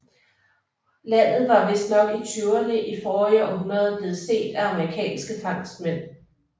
Landet var vistnok i tyverne i forrige århundrede blevet set af amerikanske fangstmænd